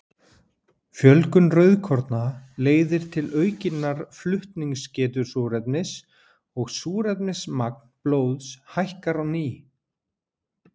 Fjölgun rauðkorna leiðir til aukinnar flutningsgetu súrefnis og súrefnismagn blóðs hækkar á ný.